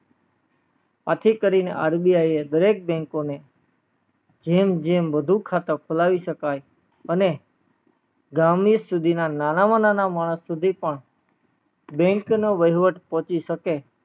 આથી કરીને RBI એ દરેક bank ને જેમ જેમ વધુ ખાતા ખોલાય શકાય અને ગામ ના ના માં નાના માણસ સુધી પણ bank નો વહીવટ પહોચી શકે